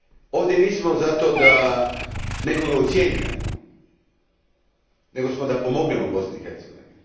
Ovdje nismo zato da nekoga ucjenjujemo, nego smo da pomognemo Bosni i Hercegovini.